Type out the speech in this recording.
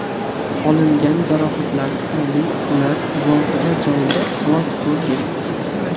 Olingan jarohatlar tufayli ular voqea joyida halok bo‘lgan.